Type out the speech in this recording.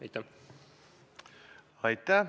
Aitäh!